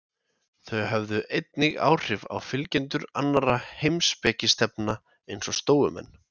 Þau höfðu einnig áhrif á fylgjendur annarra heimspekistefna, eins og stóumenn.